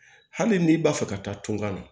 Hali n'i b'a fɛ ka taa tunkan na